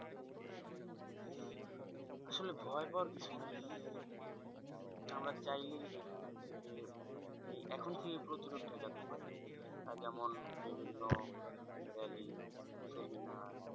আসলে ভয় পাওয়ার কিছু নেই আমরা চাইলেই এখান থেকে এখন থেকেই প্রতিরোধ ঠেকাতে পারি যেমন বিভিন্ন rally seminar